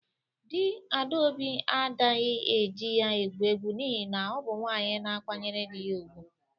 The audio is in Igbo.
Di Adaobi adaghi e ji ya egwu egwu n'ihi na ọ bụ nwaanyị na-akwanyere dị ya ugwu.